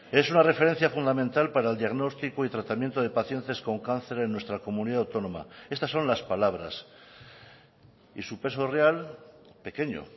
es una referencia fundamental para el diagnóstico y tratamiento de pacientes con cáncer en nuestra comunidad autónoma estas son las palabras y su peso real pequeño